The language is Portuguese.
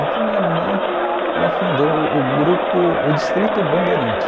Então minha mãe, ela fundou o grupo, o Distrito Bandeirante.